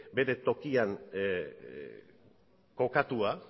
bere tokian kokatua